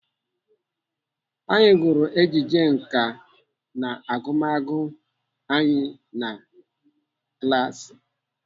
Anyị gụrụ ejije nkà n'agụmagụ anyị na klaasi.